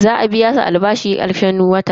Za a biya su albashi karshen wata.